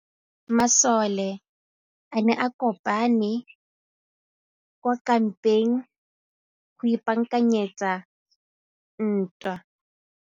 Masole a ne a kopane kwa kampeng go ipaakanyetsa ntwa.